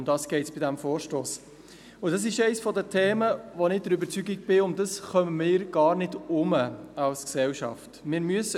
Darum geht es bei diesem Vorstoss, und dies ist eines der Themen, bei dem ich der Überzeugung bin, darum kommen wir als Gesellschaft gar nicht herum.